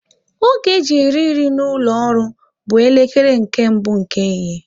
Oge e ji eri nri n'ụlọ ọrụ m bụ elekere nke mbụ nke ehihie